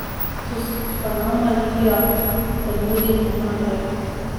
To so Panama, Libija, Bermudi in tako naprej.